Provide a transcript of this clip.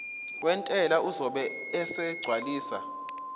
wentela uzobe esegcwalisa